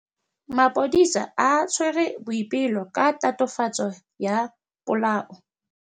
Maphodisa a tshwere Boipelo ka tatofatsô ya polaô.